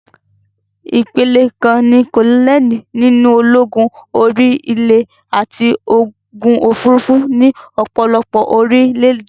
Ìpele kan ní kólónẹ́lì nínú ológun orí-ilè àti ológun òfurufú ní ọ̀pọ̀lọpọ̀ orílẹ̀-èdè.